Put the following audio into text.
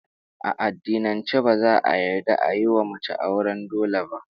A addinance ba za'a yarda ayi wa mace auren dole ba